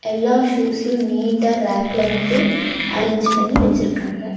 எல்லா ஷூஸ்யு நீட்டா ரேக்ல வந்து அரேஞ்ச் பண்ணி வச்சிருக்காங்க.